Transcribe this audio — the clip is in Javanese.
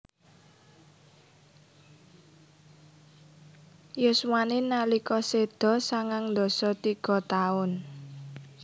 Yuswané nalika séda sangang dasa tiga taun